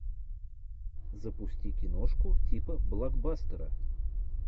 запусти киношку типа блокбастера